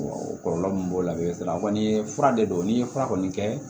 o kɔlɔlɔ min b'o la sisan a kɔni ye fura de don n'i ye fura kɔni kɛ